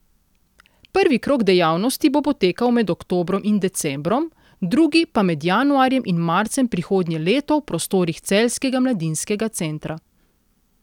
Prvi krog dejavnosti bo potekal med oktobrom in decembrom, drugi pa med januarjem in marcem prihodnje leto v prostorih celjskega mladinskega centra.